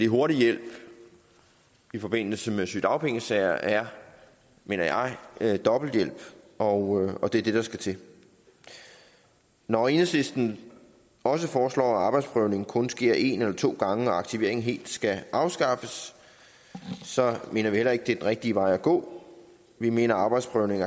hurtig hjælp i forbindelse med sygedagpengesager er mener jeg dobbelt hjælp og og det er det der skal til når enhedslisten også foreslår at arbejdsprøvningen kun sker en eller to gange og at aktiveringen helt skal afskaffes så mener vi heller ikke det er den rigtige vej at gå vi mener at arbejdsprøvning